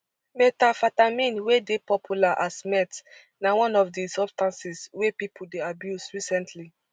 methamphetamine wey dey popular as meth na one of di substances wey pipo dey abuse recently